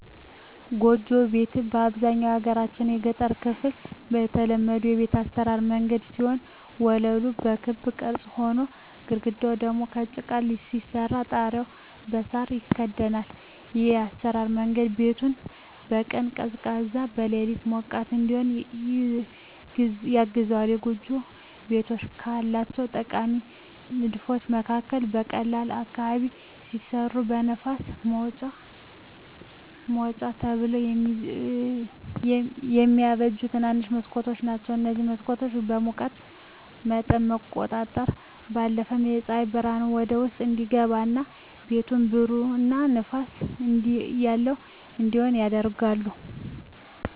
ጎጆ ቤት በአብዛኛው የሀገራችን የገጠር ክፍል የተለመዱ የቤት አሰራር መንገድ ሲሆን ወለሉ በክብ ቅርጽ ሆኖ፣ ግድግዳው ደግሞ በጭቃ ሲሰራ ጣሪያው በሳር ይከደናል። ይህ የአሰራር መንገድ ቤቱን በቀን ቀዝቃዛ፣ በሌሊት ሞቃት እዲሆን ያግዘዋል። የጎጆ ቤቶች ካላቸው ጠቃሚ ንድፎች መካከል በቆላ አካባቢ ሲሰሩ ለንፋስ ማውጫ ተብለው የሚበጁ ትንንሽ መስኮቶች ናቸዉ። እነዚህ መስኮቶች የሙቀት መጠንን ከመቆጣጠራቸው ባለፈም ፀሐይ ብርሃን ወደ ውስጥ እንዲገባ እና ቤቱን ብሩህ እና ንፋስ ያለው እንዲሆን ያደርጋሉ።